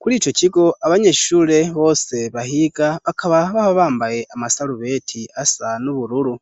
Kuri ico kigo abanyeshure bose bahiga bakaba baba bambaye amasarubeti asa n'ubururu.